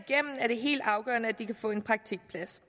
igennem er det helt afgørende at de kan få en praktikplads